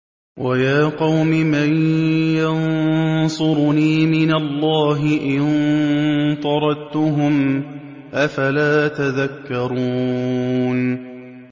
وَيَا قَوْمِ مَن يَنصُرُنِي مِنَ اللَّهِ إِن طَرَدتُّهُمْ ۚ أَفَلَا تَذَكَّرُونَ